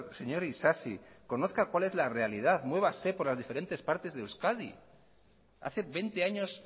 señor isasi conozca cuál es la realidad muévase por las diferentes partes de euskadi hace veinte años